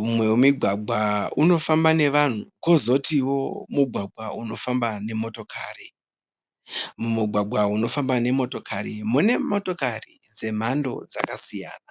Mumwe wemigwagwa unofamba nevanhu kwozotiwo mugwagwa unofamba nemotokari. Mugwagwa unofamba nemotokari mune motokari dzemhando dzakasiyana.